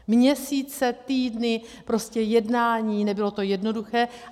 Měsíce, týdny, prostě jednání, nebylo to jednoduché.